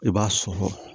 I b'a sɔn